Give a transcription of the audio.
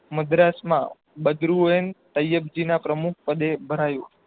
મદ્રાસમાં બદ્રુએન ટયરજીના પ્રમુખ પડે ભરાયું